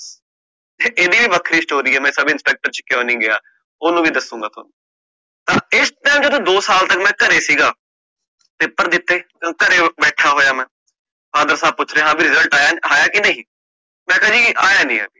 ਇਹਦੀ ਵੀ ਵੱਖਰੀ story ਆ, ਮੈਂ ਸਬ inspector ਚ ਕਿਉਂ ਨੀ ਗਯਾ, ਓਹਨੂੰ ਵੀ ਦਸੁਗਾ ਥੋਨੂੰ, ਇਸ time ਜਦੋ ਮੈਂ ਦੋ ਸਾਲ ਤਕ ਘਰੇ ਸੀਗਾ, paper ਦਿਤੇ, ਘਰੇ ਬੈਠਾ ਹੋਇਆ ਮੇ, father ਸਾਬ ਪੁੱਛ ਰੇ ਹਾਂ ਭੀ result ਆਯਾ ਕਿ ਨਹੀਂ, ਮੈਂ ਕਹ ਜੀ ਆਯਾ ਨੀ ਹਲੇ